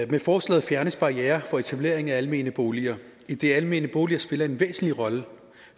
med forslaget fjernes barrierer for etablering af almene boliger idet almene boliger spiller en væsentlig rolle